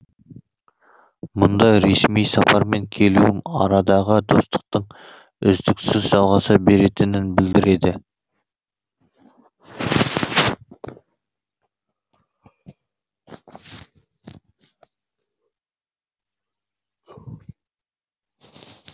мұнда ресми сапармен келуім арадағы достықтың үздіксіз жалғаса беретінін білдіреді